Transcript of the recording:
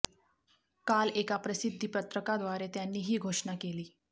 काल एका प्रसिद्धी पत्रकाद्वारे त्यांनी ही घोषणा केली